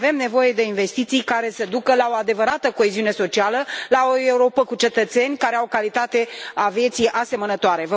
Avem nevoie de investiții care să ducă la o adevărată coeziune socială, la o Europă cu cetățeni care au o calitate a vieții asemănătoare.